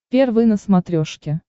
первый на смотрешке